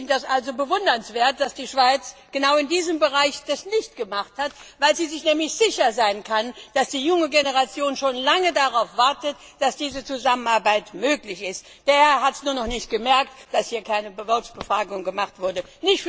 Es ist bewundernswert, dass die Schweiz das genau in diesem Bereich nicht gemacht hat, weil sie sich nämlich sicher sein kann, dass die junge Generation schon lange darauf wartet, dass diese Zusammenarbeit möglich ist. Der Herr hat es nur nicht gemerkt, dass hier keine Volksbefragung stattgefunden hat.